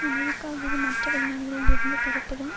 America அல்லது மற்ற வெளிநாடுகளில் இருந்து பெறப்படும்